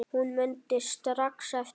Hún mundi strax eftir